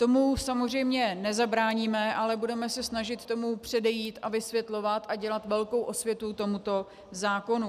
Tomu samozřejmě nezabráníme, ale budeme se snažit tomu předejít a vysvětlovat a dělat velkou osvětu tomuto zákonu.